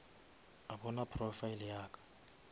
a bona profile ya ka